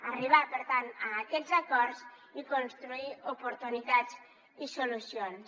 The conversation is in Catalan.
arribar per tant a aquests acords i construir oportunitats i solucions